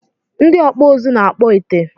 Ndị ọkpụ uzu na-akpọ ite